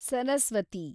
Saraswati